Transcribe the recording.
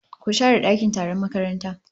Ku share dakin taron makaranta